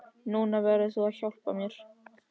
Núna verður þú að hjálpa mér!